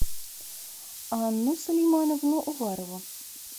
анну сулеймановну уварову